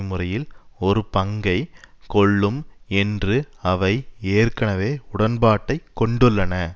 முறையில் ஒரு பங்கை கொள்ளும் என்று அவை ஏற்கனவே உடன்பாட்டை கொண்டுள்ளன